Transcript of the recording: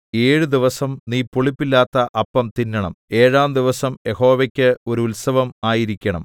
ഏഴ് ദിവസം നീ പുളിപ്പില്ലാത്ത അപ്പം തിന്നണം ഏഴാം ദിവസം യഹോവയ്ക്ക് ഒരു ഉത്സവം ആയിരിക്കണം